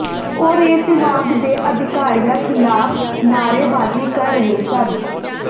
ਉਹ ਰੇਲ ਵਿਭਾਗ ਦੇ ਅਧਿਕਾਰੀਆਂ ਖਿਲਾਫ ਨਾਅਰੇਬਾਜੀ ਕਰ ਰਹੇ ਸਨ